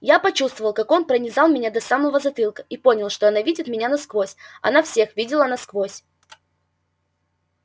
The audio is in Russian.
я почувствовал как он пронизал меня до самого затылка и понял что она видит меня насквозь она всех видела насквозь